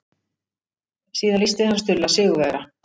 Síðan lýsti hann Stulla sigurvegara.